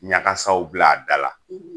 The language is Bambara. Ɲagasaw bila a da la